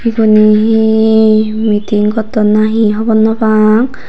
ubone hi meeting gotton nhi hobor naw pang.